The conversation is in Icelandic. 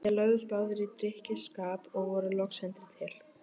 Þeir lögðust báðir í drykkjuskap og voru loks sendir til